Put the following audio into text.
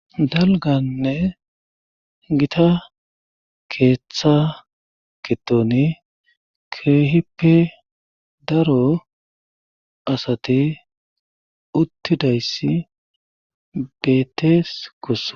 dalganne gita keeththa kittoni keehippe daro asati uttidayssi bettees kosso